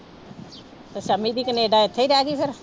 ਸੰਮੀ ਦੀ ਕਨੇਡਾ ਇੱਥੇ ਹੀ ਰਹਿ ਗਈ ਫਿਰ।